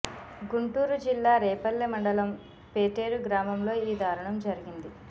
గుంటూరు జిల్లా రేపల్లె మండలం పేటేరు గ్రామంలో ఈ దారుణం జరిగింది